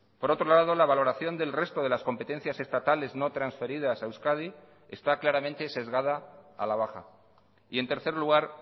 por otro lado la valoración del resto de las competencias estatales no transferidas a euskadi está claramente sesgada a la baja y en tercer lugar